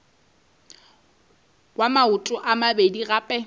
wa maoto a mabedi gape